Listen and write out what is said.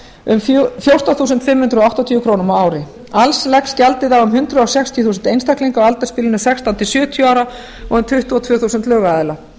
um fjórtán þúsund fimm hundruð áttatíu krónur á ári alls leggst gjaldið á um hundrað sextíu þúsund einstaklinga á aldursbilinu sextán til sjötíu ára og um tuttugu og tvö þúsund lögaðila